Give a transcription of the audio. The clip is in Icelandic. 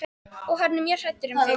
Og hann er mjög hræddur um þig.